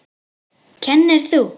Kennir þú?